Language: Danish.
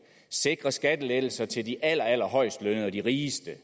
sikre skattelettelser til de allerallerhøjest lønnede og de rigeste